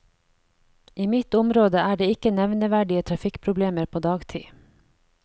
I mitt område er det ikke nevneverdige trafikkproblemer på dagtid.